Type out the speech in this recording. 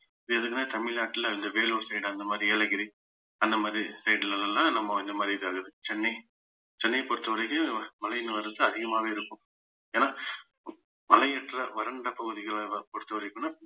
இது எதுக்குன்னா தமிழ்நாட்டுல இந்த வேலூர் side அந்த மாதிரி ஏலகிரி அந்த மாதிரி side ல எல்லாம் நம்ம இந்த மாதிரி இது ஆகுது சென்னை சென்னையை பொறுத்தவரைக்கும் மழையின் வரத்து அதிகமாவே இருக்கும் ஏன்னா மலையேற்ற வறண்ட பகுதிகளலாம் பொறுத்தவரைக்கும்ன்னா